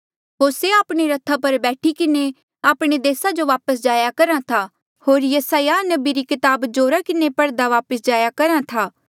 होर से आपणे रथा पर बैठी किन्हें आपणे देसा जो वापस जाहाँ करा था होर यसायाह नबी री कताब जोरा किन्हें पढ़दे वापस जाया करहा था